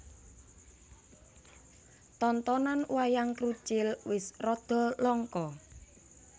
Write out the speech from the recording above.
Tontonan Wayang Krucil wis rada langka